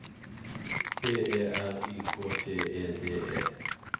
B E R Y K T E D E